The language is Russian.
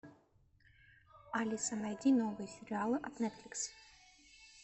алиса найди новые сериалы от нетфликс